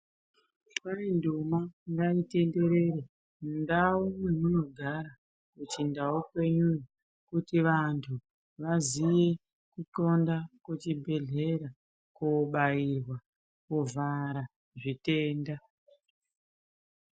Lwai ndumwa ngaitenderere mundau yamunogara kuchindau kwenyuyo kuti vanthu vaziye kuqxonda kuchibhedhleya kobairwa kovhara zvitenda.